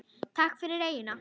Takk fyrir eyjuna.